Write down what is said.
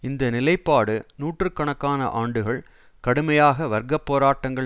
இந்த நிலைப்பாடு நூற்று கணக்கான ஆண்டுகள் கடுமையாக வர்க்க போராட்டங்கள்